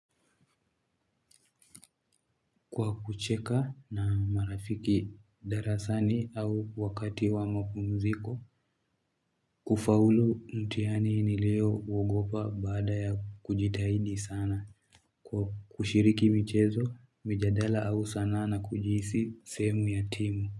Kwa kucheka na marafiki darasani au wakati wa mapumziko, kufaulu mtihani nilio uogopa baada ya kujitahidi sana. Kwa kushiriki michezo, mijadala au sanaa na kujihisi sehemu ya timu.